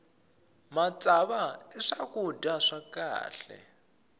matsava i swakudya swa kahle